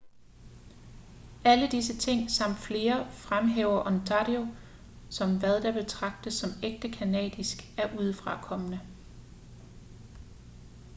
alle disse ting samt flere fremhæver ontario som hvad der betragtes som ægte canadisk af udefrakommende